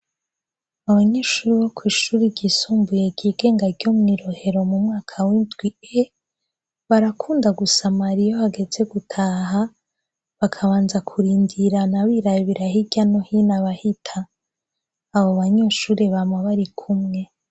Abanyeshuri bo kw'ishuri ryisumbuye ryigenga ryo mwi Rohero mu mwaka w'indwi e, barakunda gusamara iyo hageze gutaha bakabanza kurindirana birabira hirya no hino abahita, abo banyeshuri bama barikumwe.